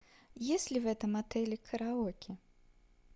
есть ли в этом отеле караоке